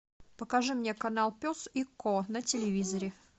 покажи мне канал пес и ко на телевизоре